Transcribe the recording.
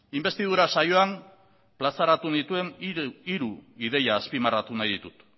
inbestidura saioan plazaratu nituen hiru ideia azpimarratu nahi ditut